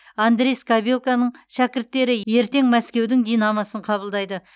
андрей скабелканың шәкірттері ертең мәскеудің динамосын қабылдайды